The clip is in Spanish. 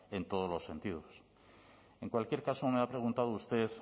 en todos los sentidos en cualquier caso me ha preguntado usted